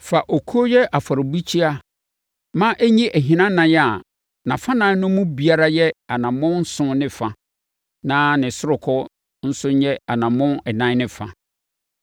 “Fa okuo yɛ afɔrebukyia ma ɛnyi ahinanan a nʼafanan no mu biara yɛ anammɔn nson ne fa na ne ɔsorokɔ nso yɛ anammɔn ɛnan ne fa.